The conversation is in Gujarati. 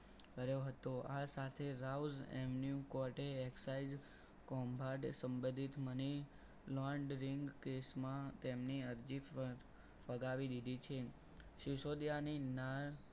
કર્યો હતો આ સાથે rouse and new court excise કંભા સંબોધિત money laundry case માં તમની અરજી ફગાવી દીધી છે. સિસોદિયાની ના